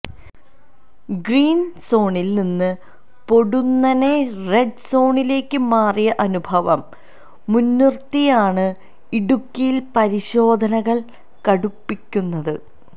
green സോണില് നിന്ന് പൊടുന്നനെ റെഡ് സോണിലേക്ക് മാറിയ അനുഭവം മുന്നിര്ത്തിയാണ് ഇടുക്കിയില് പരിശോധനകള് കടുപ്പിക്കുന്നത്